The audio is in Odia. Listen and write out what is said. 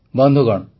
ବନ୍ଧୁଗଣ